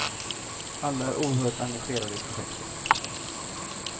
Alla är oerhört engagerade i projektet.